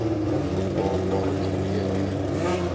bepaalbare kri teria